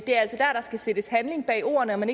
er altså dér der skal sættes handling bag ordene og man